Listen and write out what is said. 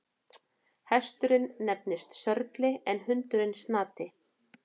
Hesturinn nefnist Sörli en hundurinn Snati.